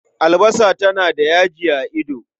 Albasa tana da yaji a ido.